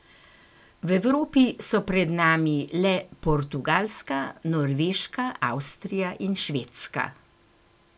V Evropi so pred nami le Portugalska, Norveška, Avstrija in Švedska.